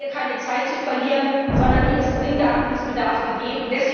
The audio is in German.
Wir haben keine Zeit zu verlieren, sondern hier ist dringender Handlungsbedarf gegeben.